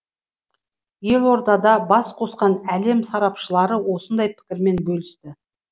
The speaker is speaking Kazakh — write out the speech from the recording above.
елордада бас қосқан әлем сарапшылары осындай пікірмен бөлісті